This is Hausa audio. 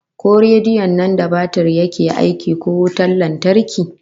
Ko rediyon nan da batir yake aiki ko wutan lantarki?